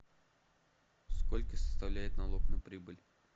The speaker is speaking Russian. сколько составляет налог на прибыль